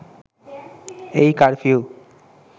এই কারফিউ